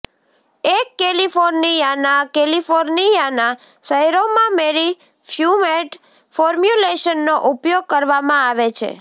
એક કેલિફોર્નિયાના કેલિફોર્નિયાના શહેરોમાં મેરી ફ્યુર્મેંટ ફોર્મ્યુલેશનનો ઉપયોગ કરવામાં આવે છે